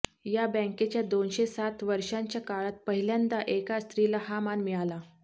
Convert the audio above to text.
या बॅंकेच्या दोनशे सात वर्षांच्या काळात पहिल्यांदा एका स्त्रीला हा मान मिळाला